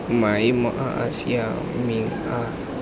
maemo a a siameng a